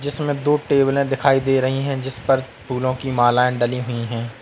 इसमें दो टेबलें दिखाई दे रही है जिसपर फूलों की मालाएं डली हुई है।